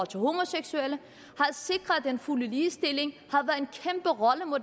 til homoseksuelle og sikret den fulde ligestilling